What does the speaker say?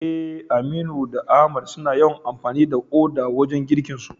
Eh, Aminu da Ahmad suna yawan amfani da uda wajen girkinsu.